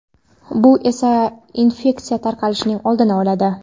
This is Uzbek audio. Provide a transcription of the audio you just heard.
bu esa infeksiya tarqalishining oldini oladi.